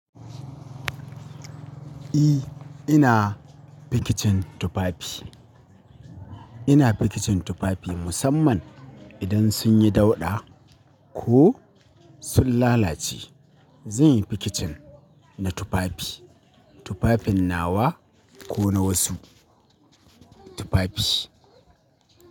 E, ina fikicin tufafi. Ina fikicin tufafi musamman idan sun yi dauɗa ko sun lalace. Zanyi fikicin na tufafi, tufafin nawa ko na wasu tufafi.